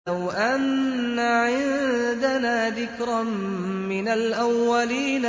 لَوْ أَنَّ عِندَنَا ذِكْرًا مِّنَ الْأَوَّلِينَ